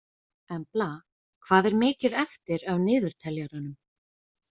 Embla, hvað er mikið eftir af niðurteljaranum?